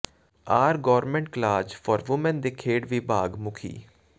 R government college for women ਦੇ ਖੇਡ ਵਿਭਾਗ ਮੁੱਖੀ